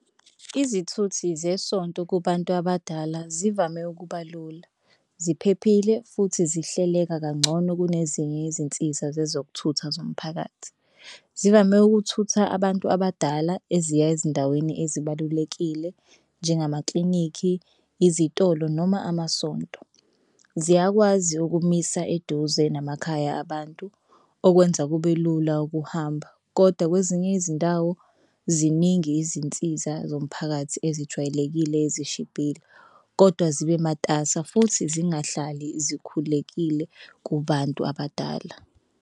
Izithuthi zesonto kubantu abadala zivame ukubalula, ziphephile, futhi zihleleka kangcono kunezinye izinsiza zezokuthutha zomphakathi. Zivame ukuthutha abantu abadala eziya ezindaweni ezibalulekile njengamaklinikhi, izitolo, noma amasonto. Ziyakwazi ukumisa eduze namakhaya abantu okwenza kube lula ukuhamba kodwa kwezinye izindawo ziningi izinsiza zomphakathi ezijwayelekile ezishibhile kodwa zibe matasa futhi zingahlali zikhulekile kubantu abadala.